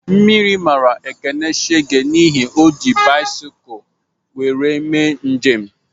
Mmiri mara Ekene shege n'ihi na o ji bisikul wéré eme njem